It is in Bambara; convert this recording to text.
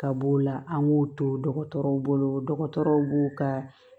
Ka b'o la an b'o to dɔgɔtɔrɔw bolo dɔgɔtɔrɔw b'o ka